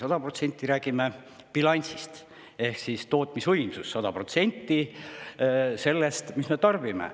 Aga me räägime bilansist ehk tootmisvõimsus on 100% sellest, mis me tarbime.